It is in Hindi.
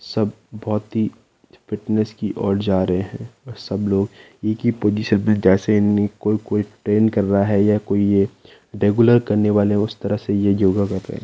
सब बहुत ही फिटनेस की और जा रहे हैं सब लोग एक ही पोजीशन में जैसे नी कोई कोई ट्रेंड कर रहा है या कोई रेगुलर करने वाले उस तरह से यह योगा कर रहे हैं।